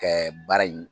Kɛ baara in